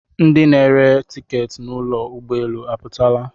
Ndi na-ere tiketị n'ụgbọelu aputogo?